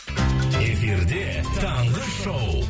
эфирде таңғы шоу